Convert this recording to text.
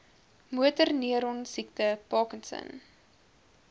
motorneuron siekte parkinson